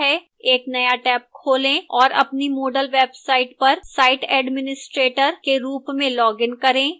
एक नया टैब खोलें और अपनी moodle website पर site administrator के रूप में login करें